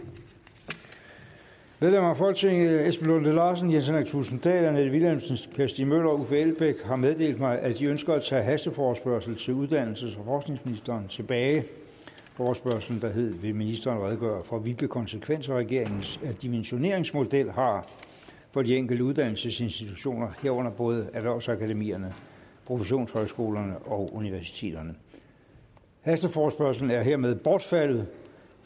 medlemmer af folketinget esben lunde larsen jens henrik thulesen dahl annette vilhelmsen per stig møller og uffe elbæk har meddelt mig at de ønsker at tage hasteforespørgslen til uddannelses og forskningsministeren tilbage forespørgslen lyder vil ministeren redegøre for hvilke konsekvenser regeringens dimensioneringsmodel har for de enkelte uddannelsesinstitutioner herunder både erhvervsakademierne professionshøjskolerne og universiteterne hasteforespørgslen er hermed bortfaldet